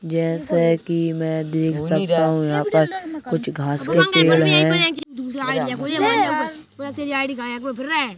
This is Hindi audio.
जैसा कि मैं देख सकता हूँ यहां पर कुछ घास के पेड़ हैं।